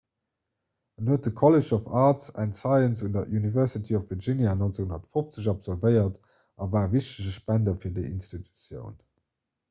en huet de college of arts & sciences un der university of virginia 1950 absolvéiert a war e wichtege spender fir déi institutioun